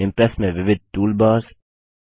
Impress में विविध toolbars